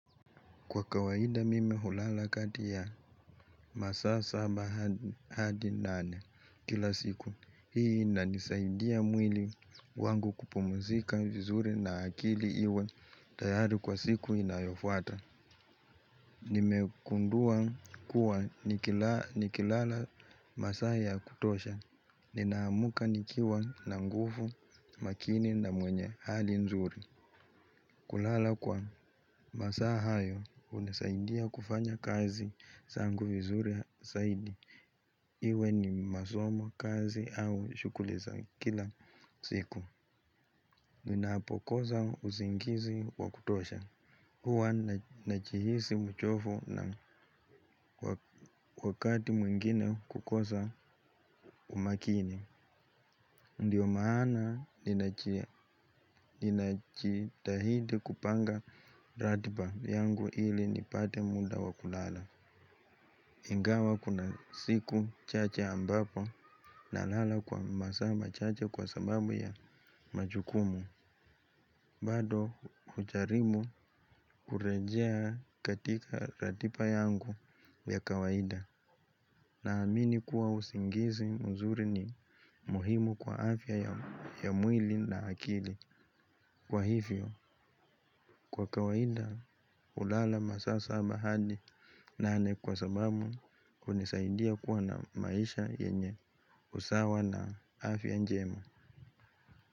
Kwa kawaida mimi hulala kati ya masaa saba hadi nane kila siku hii inanisaidia mwili wangu kupumzika vizuri na akili iwe tayari kwa siku inayofuata. Nimegundua kuwa nikilala masaa ya kutosha, ninaamka nikiwa na nguvu makini na mwenye hali nzuri. Kulala kwa masaa hayo, hunasaidia kufanya kazi zangu vizuri zaidi. Iwe ni masomo kazi au shuguli za kila siku. Ninapokosa usingizi wa kutosha. Huwa nnajihisi mchovu na wakati mwingine kukosa umakini. Ndiyo maana ninajitahidi kupanga ratiba yangu ili nipate muda wa kulala. Ingawa kuna siku chache ambapo nalala kwa masaa machache kwa sababu ya majukumu. Bado hujaribu kurejea katika ratiba yangu ya kawaida. Naamini kuwa usingizi mzuri ni muhimu kwa afya ya mwili na akili. Kwa hivyo, kwa kawaida hulala masaa saba hadi nane kwa sababu hunisaidia kuwa na maisha yenye usawa na afya njema.